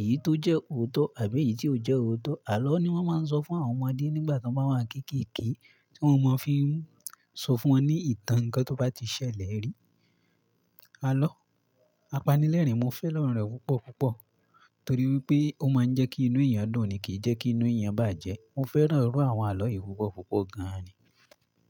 èyí tó jẹ́ òótọ́ àbí èyí tí ò jẹ́ òótọ́. Àlọ́ ni wọ́n máa ń sọ fún àwọn ọmọdé nígbà tí wọ́n bá wá ń kéékèèké, tí wọ́n máa fi ń sọ fún wọn ní ìtàn nǹkan tó bá ti ṣẹlẹ̀ rí. Àlọ́ apanilẹ́rìn mo fẹ́ràn rẹ̀ púpọ̀ púpọ̀ torí wipé ó máa ń jẹ́ kí inú èèyàn dùn ni kì í jẹ́ kí inú èèyàn bàjẹ́. Mo fẹ́ràn iru àwọn àlọ́ yìí púpọ̀ púpọ̀ gan ni.